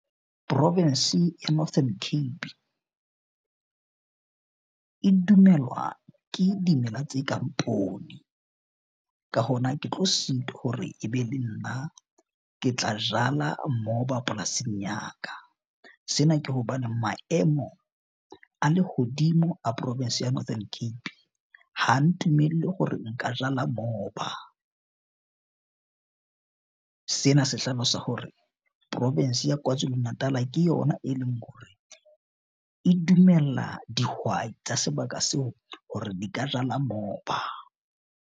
Province ya Northern Cape e dumelwa ke dimela tse kang poone. Ka hona, ke tlo sitwa hore e be le nna ke tla jala moba polasing ya ka. Sena ke hobane maemo a lehodimo a province ya Northern Cape ha ntumelle hore nka jala moba. Sena se hlalosa hore province ya Kwazulu Natal ke yona e leng hore e dumella dihwai tsa sebaka seo hore di ka jala moba.